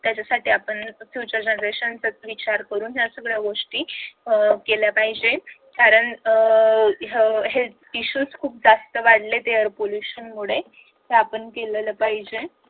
त्याच्यासाठी आपण future generation चा विचार करून ह्या गोष्टी अह केल्या पाहिजे कारण अह अह हे health isuues जास्त वाढलेत या air pollution मुळे हे आपण केलं पाहिजे